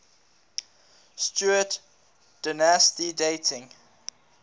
stuart dynasty dating